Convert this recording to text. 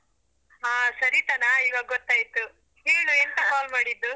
ಹಾ ಸರಿತನಾ ಇವಾಗೊತ್ತಾಯ್ತು, ಹೇಳು ಎಂತ call ಮಾಡಿದ್ದು.